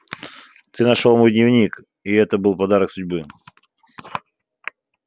ты нашёл мой дневник и это был подарок судьбы